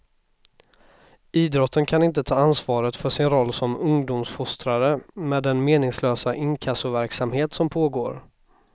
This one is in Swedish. Idrotten kan inte ta ansvaret för sin roll som ungdomsfostrare med den meningslösa inkassoverksamhet som pågår.